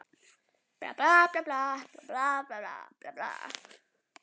Taka að mér að veita Skagfirðingum forystu.